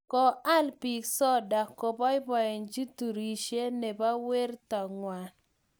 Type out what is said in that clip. Ko all biik soda kobooboichi turishe ne bo werto ngwang.